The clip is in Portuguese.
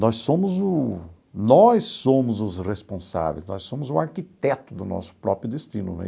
Nós somos o nós somos os responsáveis, nós somos o arquiteto do nosso próprio destino né.